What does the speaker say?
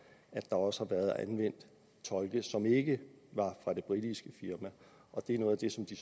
at der også har været anvendt tolke som ikke var fra det britiske firma det er noget af det som de